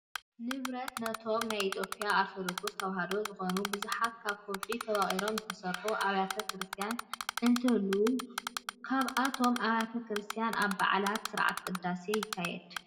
ንብረትነቶም ናይ ኢትዮጵያ ኦርቶዶክስ ተዋህዶ ዝኾኑ ብዙሓት ካብ ከውሒ ተወቒሮም ዝተሰርሑ ኣብያተ ክርስቲያን እንትህልው ኣብቶም ኣብያተ ክርስቲያን ኣብ በዓላት ስርዓተ ቅዳሴ ይካየድ።